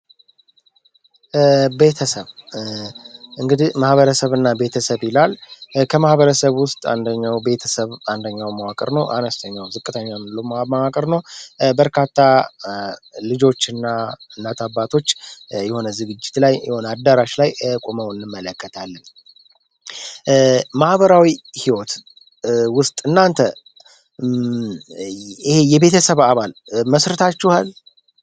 ቤተሰብ እንግድህ ማህበረሰብ እና ቤተሰብ ይላል ከማህበረሰብ ውስጥ ደው ቤተሰብ አንደኛው መዋከር ነው፡፡ አነስተኛው ዝቅተኛውን ሉማመቅር ነው፡፡ በርካታ ልጆች ና ናትባቶች የሆነ ዝግጅት ላይ የሆነ አዳራሽ ላይ ቁመውን መለከታል መሕበራዊ ህይወት ውስጥ እናንተየቤተሰብ አባል መስርታችሃል፡፡